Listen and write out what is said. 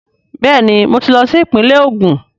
Bẹẹni, mo tí lo sí ìpínle Ogun